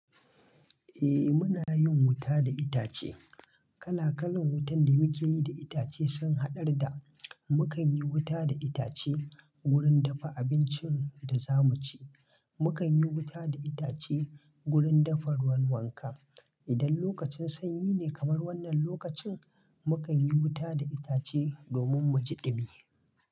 Eh muna yin wuta da itace. Kala kalan wutan da muke yi da itace sun haɗar da: Mukan yi wuta da itace gurin dafa abincin da za mu ci. Mukan yi wuta da itace gurin dafa ruwan wanka. Idan lokacin sanyi ne kamar wannan lokacin, mukan yi wuta da itace domin mu ji ɗumi.